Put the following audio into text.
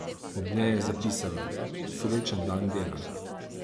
Ob njej je zapisala: "Srečen dan dela!